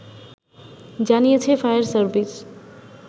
জানিয়েছে fire service